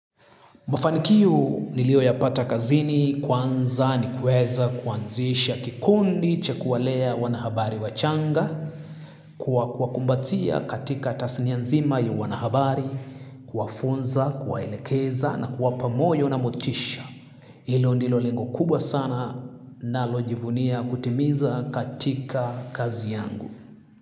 Mafanikio nilioyapata kazini kwanza ni kueza kuanzisha kikundi cha kuwalea wanahabari wachanga kwa kuwakumbatia katika tasinia nzima ya wanahabari kuwafunza kuwaelekeza na kuwapa moyo na motisha. Hilo ndilo lengo kubwa sana nalojivunia kutimiza katika kazi yangu.